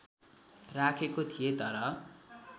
राखेको थिए तर